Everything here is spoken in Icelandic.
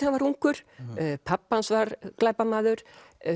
hann var ungur pabbi hans var glæpamaður